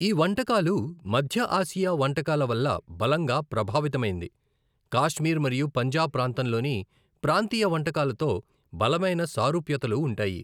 ఈ వంటకాలు మధ్య ఆసియా వంటకాల వల్ల బలంగా ప్రభావితమైంది, కాశ్మీర్ మరియు పంజాబ్ ప్రాంతంలోని ప్రాంతీయ వంటకాలతో బలమైన సారూప్యతలు ఉంటాయి.